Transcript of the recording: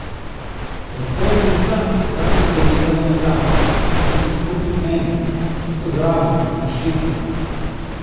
Odprem usta, da bi povedala na glas, vendar stopi k meni, čisto zraven in šepne.